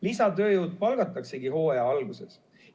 Lisatööjõud palgataksegi hooaja alguses.